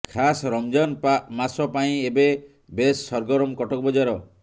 ଖାସ୍ ରମଜାନ ମାସ ପାଇଁ ଏବେ ବେଶ୍ ସରଗରମ କଟକ ବଜାର